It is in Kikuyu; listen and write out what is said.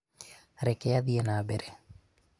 reke athiĩ na mbere